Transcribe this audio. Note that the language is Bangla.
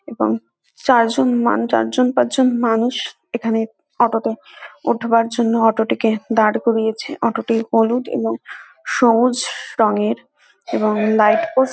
এবং চারজন মান চারজন পাঁচজন মানুষ এখানে অটো -তে উঠবার জন্য অটো -টিকে দাঁড় করিয়েছে অটো - টি হলুদ এবং সবুজ রঙের এবং লাইট পোষ্ট --